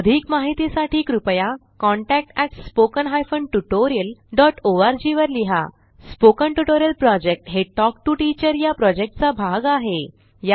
अधिक माहितीसाठी कृपया contact at spoken hyphen tutorial dot org वर लिहा स्पोकन ट्युटोरियल प्रॉजेक्ट हे टॉक टू टीचर या प्रॉजेक्टचा भाग आहे